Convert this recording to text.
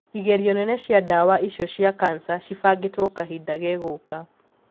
Igerio nene cia dawa icio cia cancer cibangitwo kahinda gegũũka.